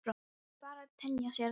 Það verður bara að temja sér það.